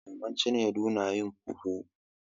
Maman cinedu na yin fufu.